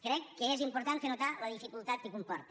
crec que és important fer notar la dificultat que comporta